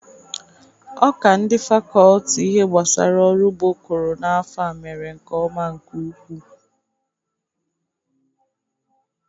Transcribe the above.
Ọka ndị fakọlti ihe gbasara ọrụ ụgbọ kụrụ n'afọ a mere nke ọma nke ukwu.